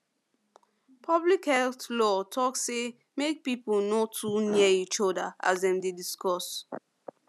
public health law talk say mek people no too near each other as dem dey discuss